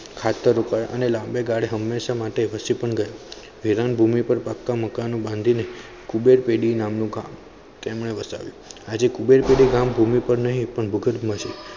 ખાધ્યેર ઉપાય અને લાબે ગાળે હમેશા માટે વસી પણ ગયા વિરાન ભૂમિ પર પાકા મકાનો બાંધી ને કુબેર પેડી નુ ગામ તેમને વસાવ્યું આજે કુબેર પેડી ગામ ભૂમિ પર નહિ ભુઘર્બ માં છે